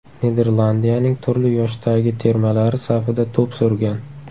Niderlandiyaning turli yoshdagi termalari safida to‘p surgan.